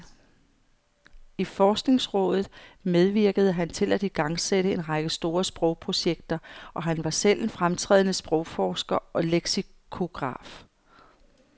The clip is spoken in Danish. I forskningsrådet medvirkede han til at igangsætte en række store sprogprojekter, og han var selv en fremtrædende sprogforsker og leksikograf.